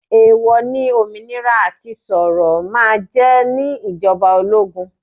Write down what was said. Èwò ní òmìnira àti sọ̀rọ̀ máa jẹ ní ìjọba ológun.